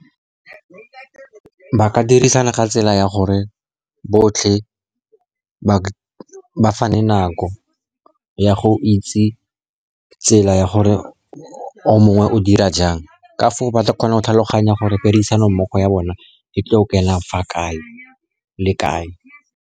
Ba ka dirisana ka tsela ya gore botlhe ba fane nako ya go itse tsela ya gore o mongwe o dira jang, ka foo ba tla kgona go tlhaloganya gore tirisanommogo ya bone e tlo kena fa kae le kae.